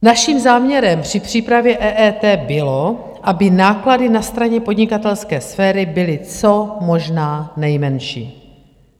Naším záměrem při přípravě EET bylo, aby náklady na straně podnikatelské sféry byly co možná nejmenší.